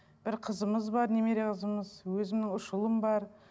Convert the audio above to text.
бір қызымыз бар немере қызымыз өзімнің ұш ұлым бар